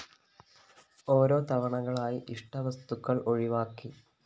ഓരോ തവണകളായി ഇഷ്ടവസ്തുക്കള്‍ ഒഴിവാക്കി